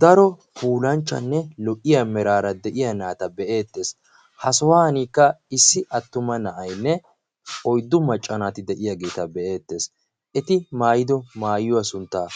daro puulanchchanne lo77iya miraara de7iya naata be7eettees. ha sohuwankka issi attuma na7ainne oiddu maccanaati de7iyaageeta be7eettees. eti maayido maayuwaa sunttaa